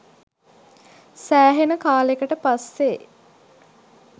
සෑහෙන කාලෙකට පස්සේ